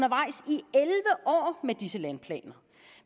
med disse vandplaner